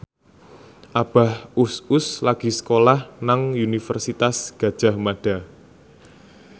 Abah Us Us lagi sekolah nang Universitas Gadjah Mada